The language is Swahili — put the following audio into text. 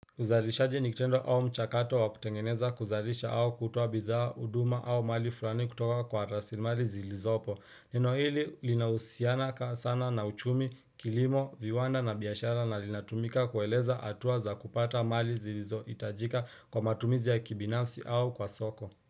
Uzalishaji nikitendo au mchakato wa kutengeneza kuzalisha au kutoa bidhaa huduma au mali fulani kutoka kwa rasilimali zilizopo. Neno hili linahusiana sana na uchumi, kilimo, viwanda na biashara na linatumika kueleza hatua za kupata mali zilizo hitajika kwa matumizi ya kibinafsi au kwa soko.